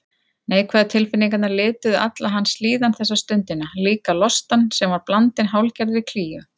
Neikvæðu tilfinningarnar lituðu alla hans líðan þessa stundina, líka lostann sem var blandinn hálfgerðri klígju.